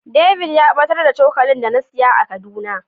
David ya batar da cokali da na siya a kaduna.